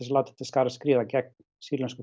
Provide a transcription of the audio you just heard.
láta til skarar skríða gegn sýrlensku